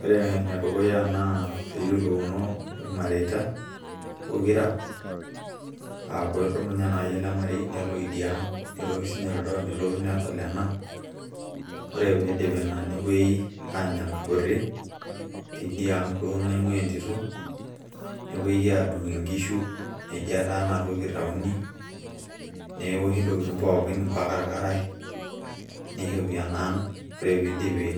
Ore ene dukuya naa pee eyiolouno ilmareita pokira, aaku edumunye naaji ele marei nelo idia ang nelotu sii ninye lido nelotu nedol ena. Ore pee idipi ina nepuoi aanya enkaputi, teidiang duo naing`uaa entito nepuoi aadung nkishu neji ena toki itayuni. Newoshi ntokitin pookin mpaka ilkarash neishopi ena ang. Ore pee iipi